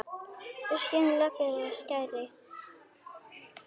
Skin leggur af skari.